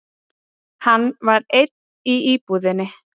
Hann var einn í íbúðinni.